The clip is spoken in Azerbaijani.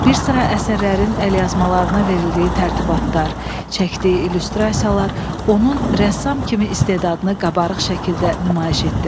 Birsıra əsərlərin əlyazmalarına verildiyi tərtibatlar, çəkdiyi illüstrasiyalar onun rəssam kimi istedadını qabarıq şəkildə nümayiş etdirir.